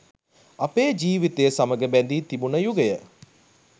අපේ ජීව්තිය සමග බැඳී තිබුන යුගය